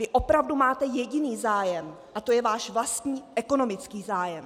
Vy opravdu máte jediný zájem, a to je váš vlastní ekonomický zájem!